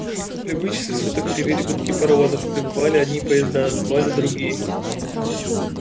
в любые часы суток ревели гудки паровозов прибывали одни поезда отбывали другие